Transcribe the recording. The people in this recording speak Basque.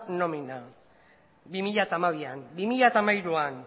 nomina bi mila hamabian bi mila hamairuan